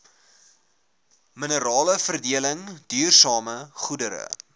mineraleveredeling duursame goedere